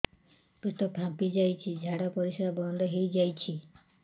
ପେଟ ଫାମ୍ପି ଯାଇଛି ଝାଡ଼ା ପରିସ୍ରା ବନ୍ଦ ହେଇଯାଇଛି